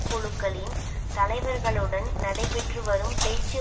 குழுக்களின் தலைவர்களுடன் நடைபெற்று வரும் பேச்சு